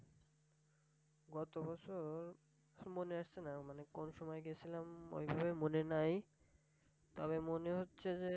গতবছর মনে হচ্ছেনা। মানে কোন সময় গেছিলাম ঐভাবে মনে নাই তবে মনে হচ্ছে যে,